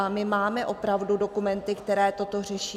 A my máme opravdu dokumenty, které toto řeší.